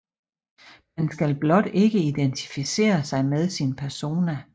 Man skal blot ikke identificere sig med sin persona